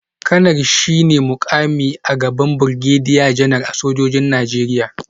Kanar shi ne mukami a gaban Birgediya Janar a sojojin Najeriya